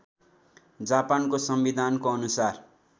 जापानको संविधानको अनुसार